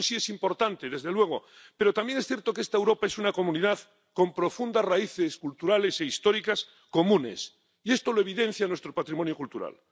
Eso sí es importante, desde luego, pero también es cierto que esta Europa es una comunidad con profundas raíces culturales e históricas comunes, y esto lo evidencia nuestro patrimonio cultural.